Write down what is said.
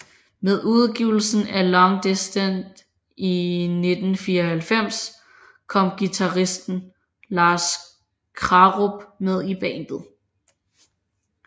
Med udgivelsen af Long Distance i 1994 kom guitarist Lars Krarup med i bandet